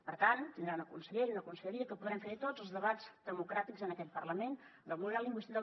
per tant tindrà una consellera i una conselleria que podrem fer hi tots els debats democràtics en aquest parlament del model lingüístic